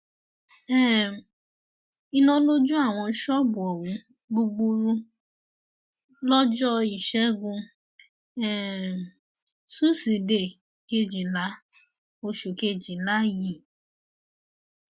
um iná ló jó àwọn ṣọọbù ohun gbúgbúrú lọjọ ìṣẹgun um túṣídéé kejìlá oṣù kejìlá yìí